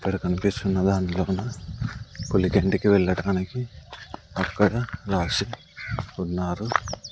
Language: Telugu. ఇక్కడ కనిపిస్తున్నదాన్లోన కొలిగెంటికి వెళ్లడానికి అక్కడ రాసి ఉన్నారు.